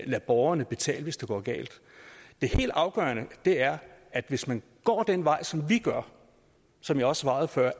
lade borgerne betale hvis det går galt det helt afgørende er at hvis man går den vej som vi gør som jeg også svarede før